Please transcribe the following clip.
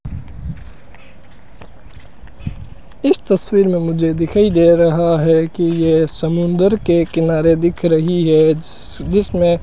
इस तस्वीर में मुझे दिखाई दे रहा है कि ये समुंदर के किनारे दिख रही है जिस जिसमें --